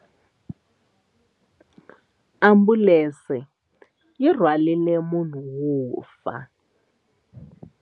Ambulense yi rhwarile munhu wo fa.